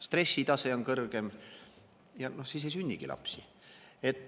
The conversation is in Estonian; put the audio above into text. Stressitase on kõrgem, ja no siis ei sünnigi lapsi.